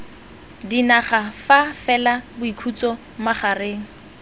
dinaga fa fela boikhutso magareng